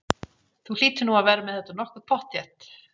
Þú hlýtur nú að vera með þetta nokkuð pottþétt?